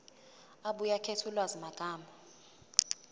abuye akhethe ulwazimagama